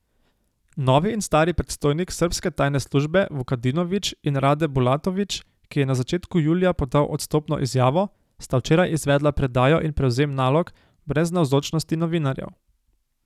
Novi in stari predstojnik srbske tajne službe Vukadinović in Rade Bulatović, ki je na začetku julija podal odstopno izjavo, sta včeraj izvedla predajo in prevzem nalog brez navzočnosti novinarjev.